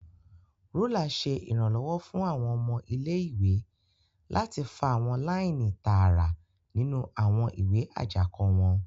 Rúlà ṣe iranlọwọ fún awọn ọmọ ilé-ìwé láti fa awọn laini tààrà nínú awọn ìwé ajako wọn.